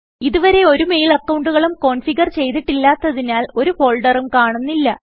ഇതുവരെ ഒരു മെയിൽ അക്കൌണ്ടുകളും കോന്ഫിഗർ ചെയ്തിട്ടില്ലാത്തതിനാൽ ഒരു ഫോൾഡറും കാണുന്നില്ല